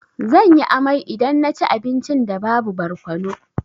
Zan yi amai idan na ci abincin da babu barkono.